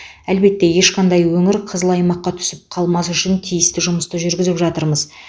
әлбетте ешқандай өңір қызыл аймаққа түсіп қалмас үшін тиісті жұмысты жүргізіп жатырмыз